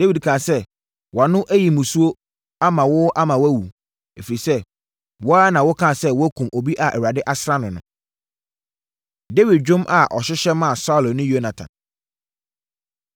Na Dawid kaa sɛ, “Wʼano ayi mmusuo ama wo ama woawu, ɛfiri sɛ, wo ara na wokaa sɛ woakum obi a Awurade asra no no.” Dawid Dwom A Ɔhyehyɛ Maa Saulo Ne Yonatan